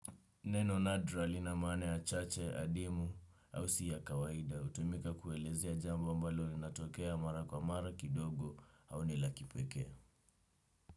Neno nadra lina maana ya chache, adimu, au si ya kawaida. Hutumika kueleza jambo ambalo linalotokea mara kwa mara kidogo, au ni la kipekee.